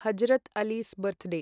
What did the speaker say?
Hazrat Ali's birthday